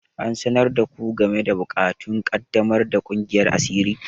An sanar da ku game da buƙatun ƙaddamar da kungiyar asiri?